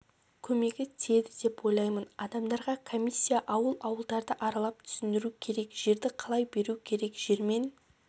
көмегі тиеді деп ойлаймын адамдарға комиссия ауыл-ауылдарды аралап түсіндіру керек жерді қалай беру керек жермен